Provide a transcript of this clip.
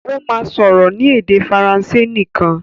Ó máa sọ̀rọ̀ ní èdè Faransé nìkan.